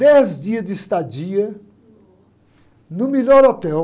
Dez dias de estadia...ossa!o melhor hotel.